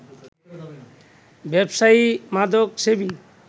ব্যবসায়ী, মাদকসেবী